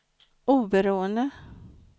oberoende